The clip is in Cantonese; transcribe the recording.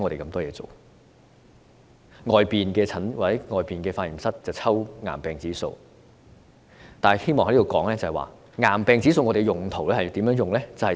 外間的化驗室抽驗癌病指數，但我希望在此指出，癌病指數有甚麼用途。